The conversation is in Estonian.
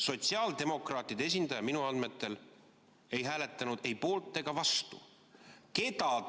Sotsiaaldemokraatide esindaja minu andmetel ei hääletanud ei poolt ega vastu.